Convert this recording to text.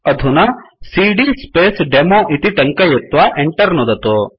अधुना CD space demo इति टङ्कयित्वा Enter नुदतु